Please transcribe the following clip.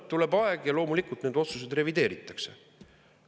Tuleb aeg, ja loomulikult nende otsuseid revideeritakse.